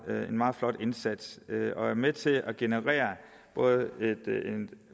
meget flot indsats og er med til både at generere et